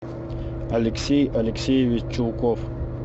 алексей алексеевич чулков